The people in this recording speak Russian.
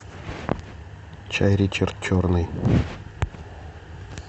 чай ричард черный